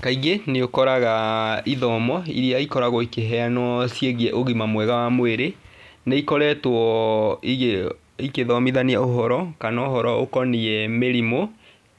Kaingĩ nĩũkoraga ithomo iria ikoragwo ikĩheanwo ciĩgiĩ ũgima mwega wa mwĩrĩ, nĩikoretwo igĩthomithania ũhoro kana ũhoro ũkoniĩ mĩrimũ